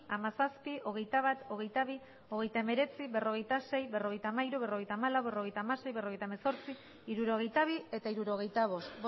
hamazazpi hogeita bat hogeita bi hogeita hemeretzi berrogeita sei berrogeita hamairu berrogeita hamalau berrogeita hamasei berrogeita hemezortzi hirurogeita bi eta hirurogeita bost